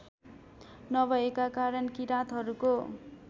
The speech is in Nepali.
नभएका कारण किराँतहरूको